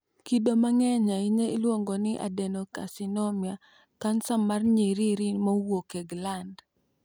Kido ma ng'eny ahinya iluongo ni adenocarcinoma (kansa mar nyiriri mowuok e gland).